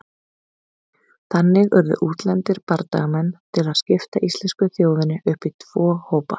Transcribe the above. Þannig urðu útlendir bardagamenn til að skipta íslensku þjóðinni upp í tvo hópa.